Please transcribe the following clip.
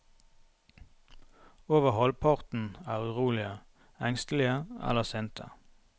Over halvparten er urolige, engstelige eller sinte.